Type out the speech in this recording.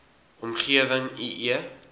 omgewing i e